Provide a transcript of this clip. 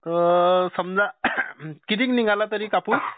अअ समजा कितीक निघाला तरी कापूस?